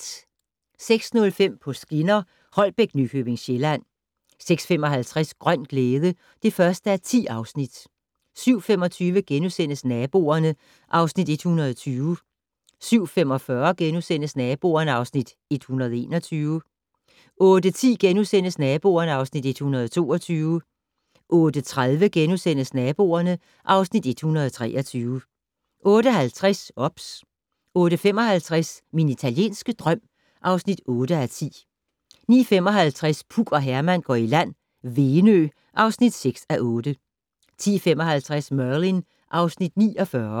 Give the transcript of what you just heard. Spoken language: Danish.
06:05: På skinner: Holbæk - Nykøbing Sjælland 06:55: Grøn glæde (1:10) 07:25: Naboerne (Afs. 120)* 07:45: Naboerne (Afs. 121)* 08:10: Naboerne (Afs. 122)* 08:30: Naboerne (Afs. 123)* 08:50: OBS 08:55: Min italienske drøm (8:10) 09:55: Puk og Herman går i land - Venø (6:8) 10:55: Merlin (Afs. 49)